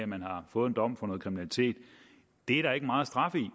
man har fået en dom for noget kriminalitet er der ikke meget straf i